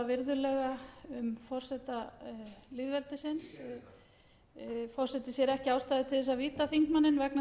virðulega um forseta lýðveldisins forseti sér ekki ástæðu til þess að víta þingmanninn vegna